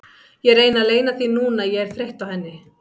Ég reyni að leyna því núna að ég er þreytt á henni.